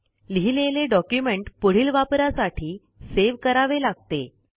लिहिलेले डॉक्युमेंट पुढील वापरासाठी सेव्ह करावे लागते